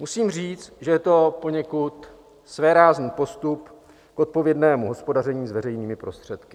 Musím říct, že je to poněkud svérázný postup k odpovědnému hospodaření s veřejnými prostředky.